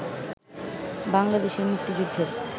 বাংলাদেশের মুক্তিযুদ্ধের